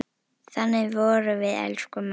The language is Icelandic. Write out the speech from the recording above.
Þannig vorum við, elsku mamma.